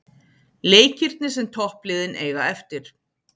Leikirnir sem toppliðin eiga eftir